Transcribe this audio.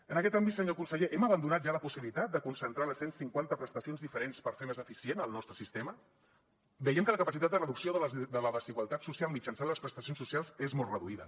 en aquest àmbit senyor conseller hem abandonat ja la possibilitat de concentrar les cent cinquanta prestacions diferents per fer més eficient el nostre sistema veiem que la capacitat de reducció de la desigualtat social mitjançant les prestacions socials és molt reduïda